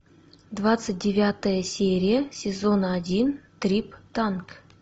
двадцать девятая серия сезона один триптанк